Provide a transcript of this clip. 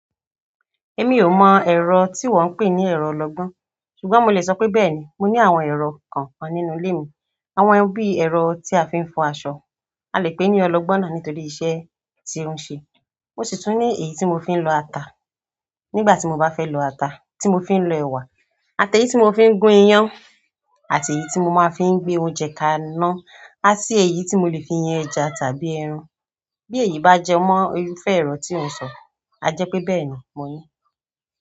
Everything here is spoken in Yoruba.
Èmi ò mọ̀ ẹ̀rọ tí wọ́ ń pè ní ẹ̀rọ ọlọgbọ́n, ṣùgbọ́n mo lè sọ pé bẹ́ẹ̀ni mo ní àwọn ẹ̀rọ kàn kan nínú ilé mi. Àwọn bí ẹ̀rọ tí a fi ń fọ aṣọ, a lè pè ní ọlọgbọ́n nítorí iṣẹ́ tí ó ń ṣe. Mo sì tún ní èyí tí mo fi ń lọ ata nígbà tí mo bá fẹ́ lọ ata, tí mo fi ń lọ ẹ̀wà, àti èyí tí mo fi ń gún iyán, àti èyí tí mo máa ń fi gbé oúnjẹ kaná, àti èyí tí mo lè fi yan ẹja tàbí ẹran. Bí èyí bá jẹ mọ́ irúfẹ́ ẹ̀rọ tí ò ń sọ, a jẹ pé bẹ́ẹ̀ni mo ní.